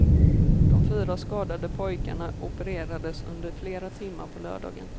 De fyra skadade pojkarna opererades under flera timmar på lördagen.